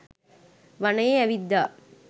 වනයේ ඇවිද්දා.